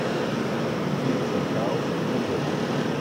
пицца хаус билет